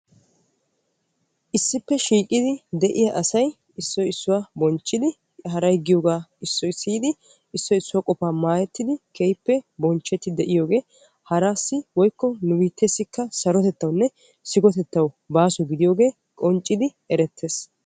Issippe shiiqidi de'iyaa asay issoy issuwaa bonchchidi haray giyoogaa issoy siyidi issoy issuwaa qofaa maayettidi keehippe bonchchettidi de'iyoogee haraassi woykko nu biittesikka sarotettawu baaso gididi de'iyoo baaso gidiyoogee erettees.